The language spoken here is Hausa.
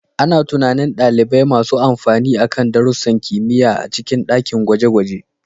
Ana tunanin ɗalibai masu amfani akan darussan kimiyya a cikin dakin gwaje-gwaje.